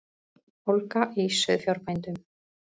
Ólga í sauðfjárbændum